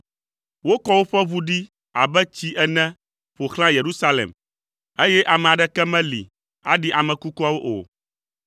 Wokɔ woƒe ʋu ɖi abe tsi ene ƒo xlã Yerusalem, eye ame aɖeke meli aɖi ame kukuawo o.